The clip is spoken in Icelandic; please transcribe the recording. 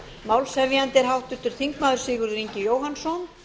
málshefjandi er háttvirtur þingmaður sigurður ingi jóhannsson